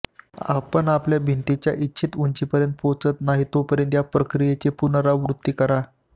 आपण आपल्या भिंतीच्या इच्छित उंचीपर्यंत पोहोचत नाही तोपर्यंत या प्रक्रियेची पुनरावृत्ती करा